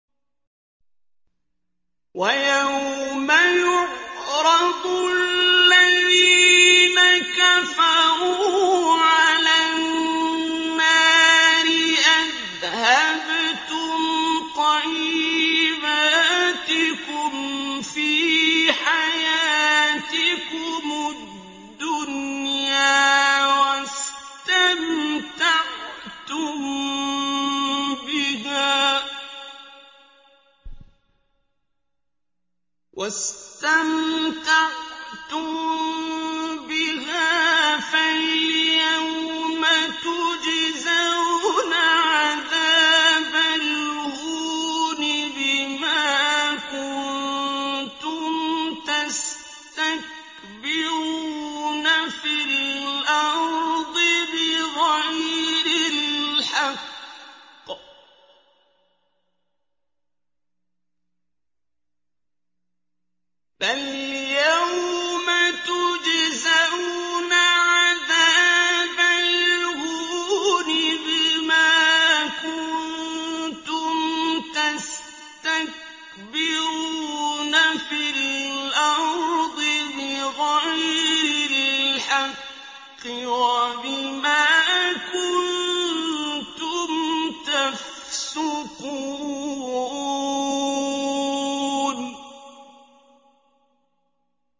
وَيَوْمَ يُعْرَضُ الَّذِينَ كَفَرُوا عَلَى النَّارِ أَذْهَبْتُمْ طَيِّبَاتِكُمْ فِي حَيَاتِكُمُ الدُّنْيَا وَاسْتَمْتَعْتُم بِهَا فَالْيَوْمَ تُجْزَوْنَ عَذَابَ الْهُونِ بِمَا كُنتُمْ تَسْتَكْبِرُونَ فِي الْأَرْضِ بِغَيْرِ الْحَقِّ وَبِمَا كُنتُمْ تَفْسُقُونَ